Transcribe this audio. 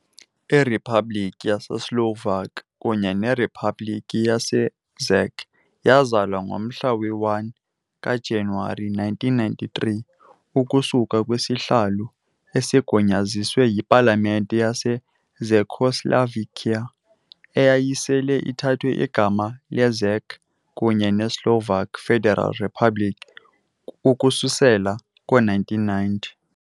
IRiphabhlikhi yaseSlovak kunye neRiphabhlikhi yaseCzech yazalwa ngomhla we-1 kaJanuwari 1993 ukusuka kwisahlulo, esigunyaziswe yipalamente yaseCzechoslovakia, eyayisele ithathe igama leCzech kunye neSlovak Federal Republic ukususela ngo-1990.